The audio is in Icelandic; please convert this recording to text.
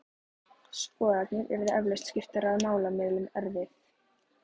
Skoðanir yrðu eflaust skiptar og málamiðlun erfið.